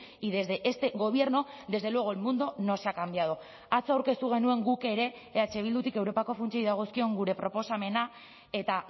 y desde este gobierno desde luego el mundo no se ha cambiado atzo aurkeztu genuen guk ere eh bildutik europako funtsei dagozkion gure proposamena eta